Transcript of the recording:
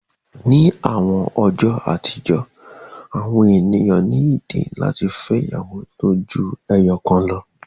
In the olden days, people had reasons to marry more than one wife